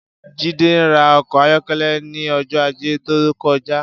Jide rà ọkọ àyọkẹlẹ̀ ni ọjọ àjé tókọ̀já